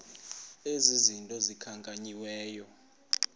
ezi zinto zikhankanyiweyo